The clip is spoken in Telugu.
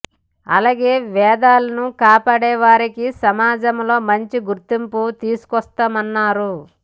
అలాగే వేదాలను కాపాడే వారికి సమాజంలో మంచి గుర్తింపు తీసుకొస్తామన్నారు